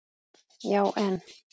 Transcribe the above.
Já en?